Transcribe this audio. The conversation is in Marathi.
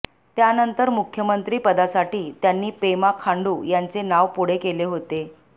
त्यानंतर मुख्यमंत्री पदासाठी त्यांनी पेमा खांडू यांचे नाव पुढे केले होते